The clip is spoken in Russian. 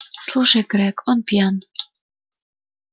слушай грег он он пьян